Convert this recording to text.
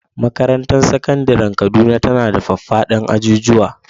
Makarantar Sakandaren Kaduna tana da faffaɗan ajujuwa.